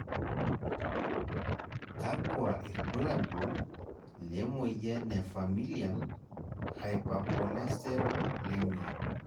kakua irbulabol le moyian e Familial hypercholesterolemia